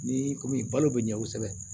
Ni komi balo be ɲɛ kosɛbɛ